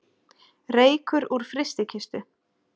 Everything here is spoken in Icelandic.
Reykur úr frystikistu